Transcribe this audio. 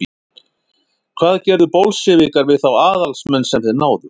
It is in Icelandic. hvað gerðu bolsévikar við þá aðalsmenn sem þeir náðu